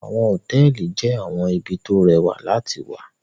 Àwọn hotẹẹli jẹ awọn ibi to o rẹwạ lati wạ